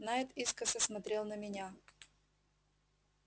найд искоса смотрел на меня